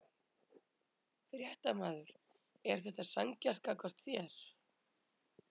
Fréttamaður: Er þetta sanngjarnt gagnvart þér?